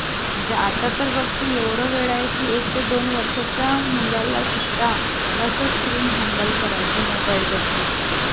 आणि काय पराक्रम गाजवला मी. हा मग काय sir नी शाबासकी दिली कि madam ने शाबासकी दिली? तर म्हंटल, 'पप्पा काय झाल माहितीये तो तो पोरगा माहिती आहे ना', तर हा म्हणत्यात त्याचा पाय तुटलाय ना.